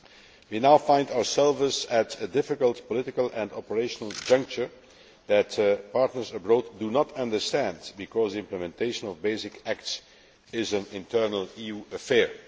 We now find ourselves at a difficult political and operational juncture that partners abroad do not understand, because implementation of basic acts is an internal EU affair.